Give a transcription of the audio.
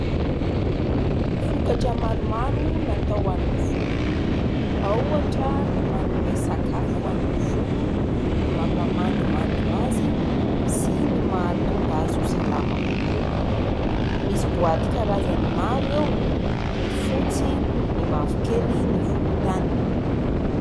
Vokatra maromaro natao ho an'ny volo, ao ohatra ny manome sakafo ho an'ny volo, ny mampamandimandina azy sy ny mahatonga azy ho salama kokoa. Misy boaty karazany maro eo : ny fotsy, ny mavokely, ny volontany.